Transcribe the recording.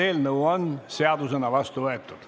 Eelnõu on seadusena vastu võetud.